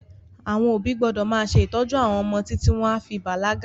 Àwọn òbí gbọ́dọ̀ máa ṣe ìtọ́jú àwọn ọmọ títí wọn a fi bàlágà